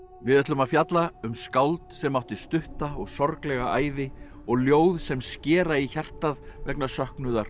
við ætlum að fjalla um skáld sem átti stutta og sorglega ævi og ljóð sem skera í hjartað vegna söknuðar og